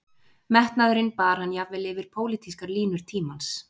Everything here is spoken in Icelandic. Metnaðurinn bar hann jafnvel yfir pólitískar línur tímans